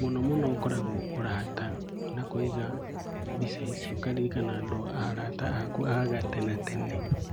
Mũno mũno ũkoragwo ũrata na kũiga mbica icio, ũkaririkana arata aku a gatenatene.